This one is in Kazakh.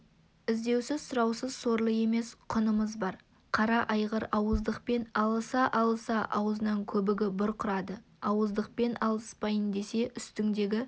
іздеусіз-сұраусыз сорлы емес құнымыз бар қара айғыр ауыздықпен алыса-алыса аузынан көбігі бұрқырады ауыздықпен алыспайын десе үстіңдегі